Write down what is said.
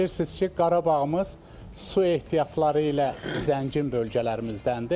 Bilirsiniz ki, Qarabağımız su ehtiyatları ilə zəngin bölgələrimizdəndir.